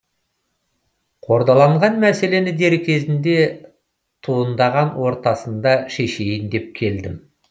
қордаланған мәселені дер кезінде туындаған ортасында шешейін деп келдім